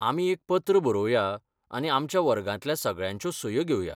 आमी एक पत्र बरोवया आनी आमच्या वर्गांतल्या सगळ्यांच्यो सयो घेवया.